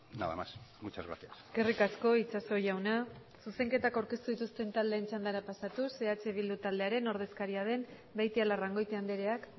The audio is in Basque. nada más muchas gracias eskerrik asko itxaso jauna zuzenketak aurkeztu dituzten taldeen txandara pasatuz eh bildu taldearen ordezkaria den beitialarrangoitia andreak